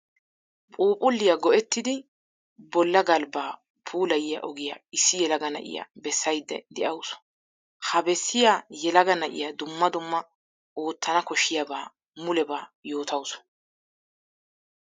Phuuphphuliya go'etiddi bolla galbba puulayiyo ogiya issi yelaga na'iyaa bessayidde de'awussu. Ha bessiya yelaga na'iya dumma dumma ootanna koshiyaba mulebba yootawusu.